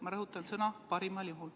Ma rõhutan sõnu "parimal juhul".